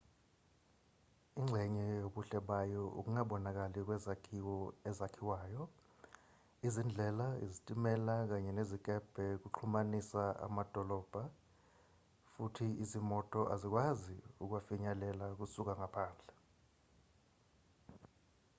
ingxenye yobuhle bayo ukungabonakali kwezakhiwo ezakhiwayo izindlela izitimela kanye nezikebhe kuxhumanisa amadolobhana futhi izimoto azikwazi ukuwafinyelela kusuka ngaphandle